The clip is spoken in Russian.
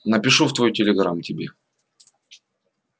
напишу в твой телеграм тебе